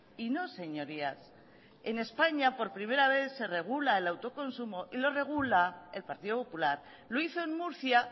y no señorías en españa por primera vez se regula el autoconsumo y lo regula el partido popular lo hizo en murcia